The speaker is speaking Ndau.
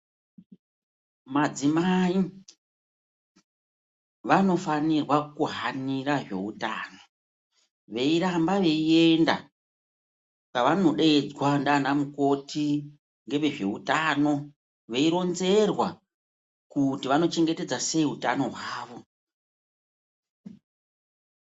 Madzimai vanofanirwa ku hanira zveutano veiramba veienda kwavanodedzwa ndiana mukoti, ngevezveutano veironzerwa kuti vanochengetedza sei utano hwavo.